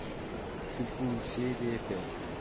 куку серия пять